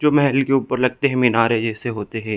जो महल के ऊपर लगते है मिनारे जैसे होते है।